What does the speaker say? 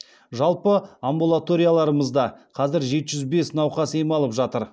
жалпы амбулаторияларымызда қазір жеті жүз бес науқас ем алып жатыр